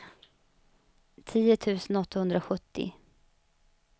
tio tusen åttahundrasjuttio